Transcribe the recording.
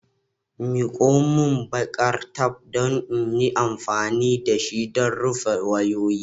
Miko min baƙar taf don in yi amfani da shi don rufe wayoyi.